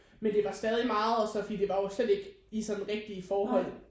Men det var stadig meget og så fordi det var jo slet ikke i sådan rigtige forhold